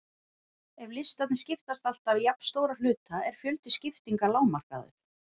Ef listarnir skiptast alltaf í jafnstóra hluta er fjöldi skiptinga lágmarkaður.